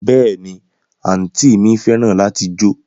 Béèni, anti mi feran lati jo